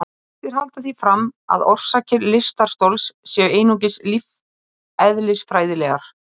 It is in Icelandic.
Í báðum tilfellum voru vísindamenn heiðraðir sem hafa komist að afar hagnýtum niðurstöðum.